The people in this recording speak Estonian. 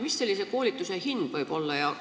Mis sellise koolituse hind võib olla?